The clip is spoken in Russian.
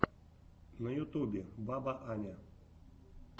на ютубе баба аня